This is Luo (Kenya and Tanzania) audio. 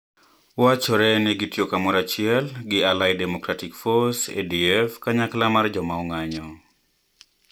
Wachore ni ne gitiyo kamoro achiel gi Allied Democratic Force, ADF, kanyakla mar joma ong'anjo.